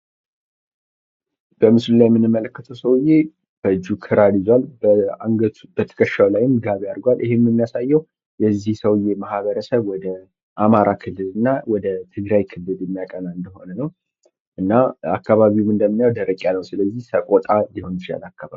በምስሉ ላይ የምንመለከተው ሰውዬ በእጁ ክራር ይዟል። ከትከሻው ላይም ጋቢ አድርጓል። ይህም የሚያሳየው የዚህ ሰውየ ማህበረሰብ ወደ አማራ ክልል እና ወደ ትግራይ ክልል የሚያቀና እንደሆነ ነው። እና አካባቢውም እንደምናየው ደረቅ ያለ ነው ስለዚህ ሰቆጣ ሊሆን ይችላል አካባቢው።